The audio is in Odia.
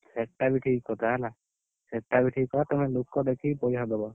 ସେଟା, ବି ଠିକ୍ କଥା ହେଲା। ସେଟା ବି ଠିକ୍ କଥା ତମେ ଲୋକ ଦେଖିକି ପଇସା ଦବ।